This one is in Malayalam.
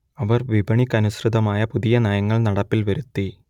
അവർ വിപണിക്കനുസൃതമായ പുതിയ നയങ്ങൾ നടപ്പിൽ വരുത്തി